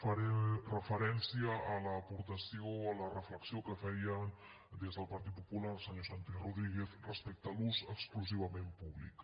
faré referència a l’aportació a la reflexió que feia des del partit popular el senyor santi rodríguez respecte a l’ús exclusivament públic